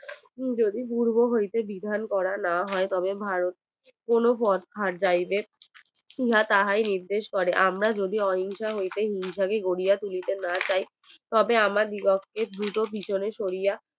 যদি পূর্ব হইতে বিধান করা না হয় তবে ভারত কোনো পোধাট যাবেনা তাহাই নির্দেশ করে আমরা যদি অহিংসা হতে হিংসা তে গড়িয়ে তুলিতে না চাই তবে আমার দ্রুত পিছনে চলিয়ে